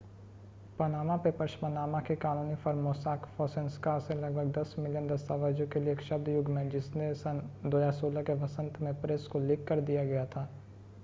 Panama Papers Panama की कानूनी firm Mossack Fonseca से लगभग दस मिलियन दस्तावेजों के लिए एक शब्द युग्म है जिसे सन 2016 के वसंत में प्रेस को लीक कर दिया गया था